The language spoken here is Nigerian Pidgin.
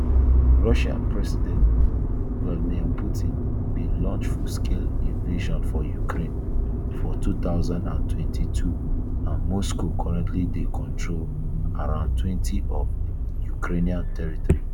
russian president um vladimir putin bin launch fullscale invasion for ukraine for two thousand and twenty-two and moscow currently dey control around twenty of um ukraine territory